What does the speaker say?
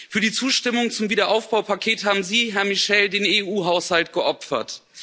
Für die Zustimmung zum Wiederaufbaupaket haben Sie, Herr Michel, den EU Haushalt geopfert.